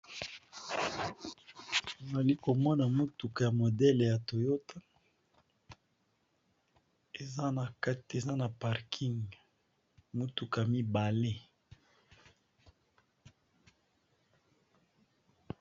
Nazalikomona mutuka ya modèle ya Toyota eza na parking mituka mibale.